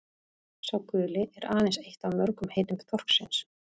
„sá guli“ er aðeins eitt af mörgum heitum þorsksins